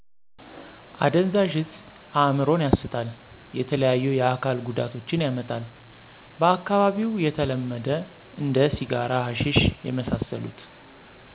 አደንዛዥ እጽ እምሮን ያሰታል የተለያዩ የአካል ጎዳቶችን ያመጣል በአካባቢው የተለመዶ እንደ ሲጋራ ሀሸሺ የመሳስሎት ...